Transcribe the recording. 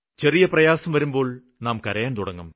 ചെറിയ പ്രയാസം വരുമ്പോള് നാം കരയാന് തുടങ്ങും